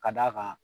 Ka d'a kan